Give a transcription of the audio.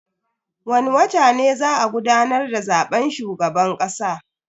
Wani watan ne za a gudanar da zaben shugaban kasa.